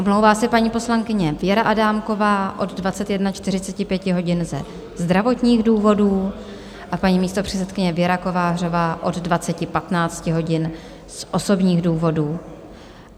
Omlouvá se paní poslankyně Věra Adámková od 21.45 hodin ze zdravotních důvodů a paní místopředsedkyně Věra Kovářová od 20.15 hodin z osobních důvodů.